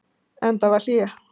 Enda var hlé.